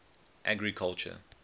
agriculture